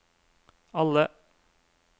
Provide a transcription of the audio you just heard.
alle